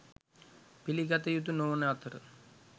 පිළිගත යුතු නොවන අතර